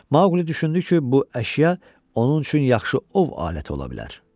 Maqli düşündü ki, bu əşya onun üçün yaxşı ov aləti ola bilər.